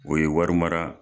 O ye wari mara